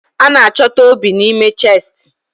A na-achọta obi n'ime chestị